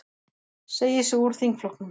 Segir sig úr þingflokknum